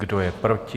Kdo je proti?